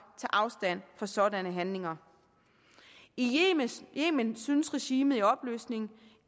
afstand fra sådanne handlinger i yemen synes regimet i opløsning